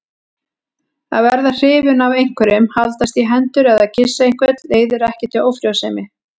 Að verða hrifinn af einhverjum, haldast í hendur eða kyssa einhvern leiðir ekki til ófrjósemi.